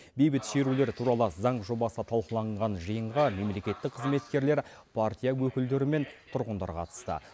бейбіт шерулер туралы заң жобасы талқыланған жиынға мемлекеттік қызметкерлер партия өкілдері мен тұрғындар қатысты